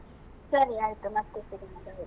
ಸರಿ ಆಯ್ತು, ಮತ್ತೆ .